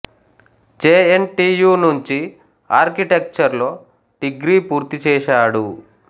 J N T U నుంచి architecture లో degree పూర్తి చేశాడు